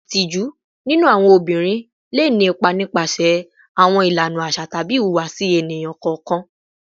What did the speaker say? Itiju ninu awọn obinrin le ni ipa nipasẹ awọn ilana aṣa tabi ihuwasi eniyan kọọkan